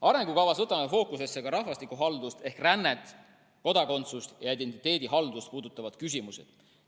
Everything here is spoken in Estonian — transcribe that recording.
Arengukavas võtame fookusesse ka rahvastikuhaldust ehk rännet, kodakondsust ja identiteedihaldust puudutavad küsimused.